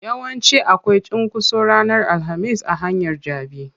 Yawanci akwai cunkoso ranar alhamis a hanyar jabi.